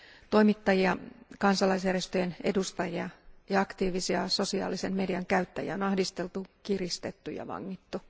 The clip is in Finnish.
Toimittajia, kansalaisjärjestöjen edustajia ja aktiivisia sosiaalisen median käyttäjiä on ahdisteltu, kiristetty ja vangittu.